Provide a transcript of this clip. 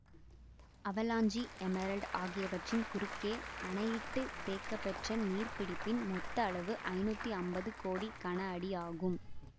avalanche Emerald ஆகியவற்றின் குறுக்கே அணையிட்டுத் தேக்கப்பெற்ற நீர்ப்பிடிப்பின் மொத்த அளவு ஐநூத்தி ஐம்பது கோடி கன அடி ஆகும்